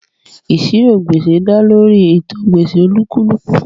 Ìṣirò gbèsè dá lórí ìtàn gbèsè olúkúlùkù